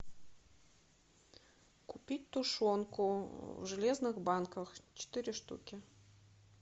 купить тушенку в железных банках четыре штуки